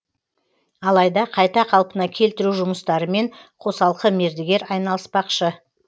алайда қайта қалпына келтіру жұмыстарымен қосалқы мердігер айналыспақшы